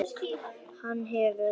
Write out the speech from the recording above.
Hann hefur.